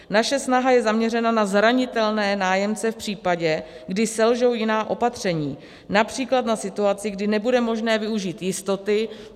Naše snaha je zaměřena na zranitelné nájemce v případě, kdy selžou jiná opatření, například na situaci, kdy nebude možné využít jistoty.